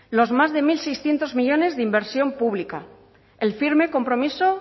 los más de mil seiscientos millónes de inversión pública el firme compromiso